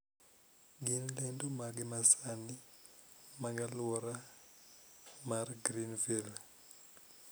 Gin lendo mage masani sani mag aluora mar greenville